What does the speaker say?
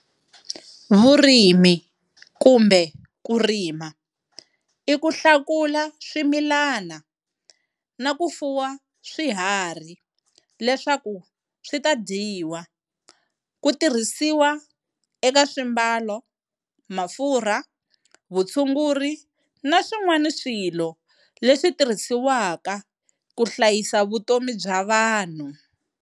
Vurimi kumbe kurima i kuhlakula swimilana na ku fuwa swiharhi leswkau switadyiwa, kutirhisiwa eka swiambalo, mafurha, vutshunguri naswin'wana swilo leswitirhisiwaka ku hlayisa vutomi bya vanhu.